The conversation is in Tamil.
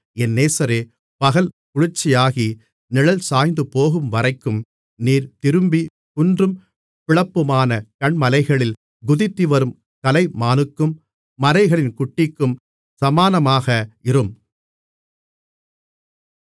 என் நேசரே பகல் குளிர்ச்சியாகி நிழல் சாய்ந்துபோகும்வரைக்கும் நீர் திரும்பி குன்றும் பிளப்புமான கன்மலைகளில் குதித்துவரும் கலைமானுக்கும் மரைகளின் குட்டிக்கும் சமானமாக இரும்